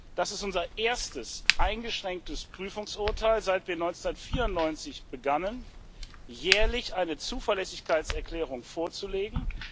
Das ist unser erstes eingeschränktes Prüfungsurteil, seit wir 1994 begannen, jährlich eine Zuverlässigkeitserklärung vorzulegen.